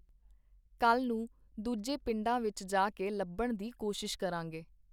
ਕੱਲ੍ਹ ਨੂੰ ਦੂਜੇ ਪਿੰਡਾਂ ਵਿੱਚ ਜਾ ਕੇ ਲੱਭਣ ਦੀ ਕੋਸ਼ਿਸ਼ ਕਰਾਂਗੇ.